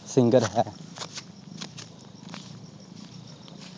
singer ਹੈ।